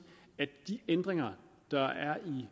at de ændringer der er i